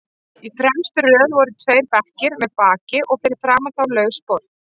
Í fremstu röð voru tveir bekkir með baki og fyrir framan þá laus borð.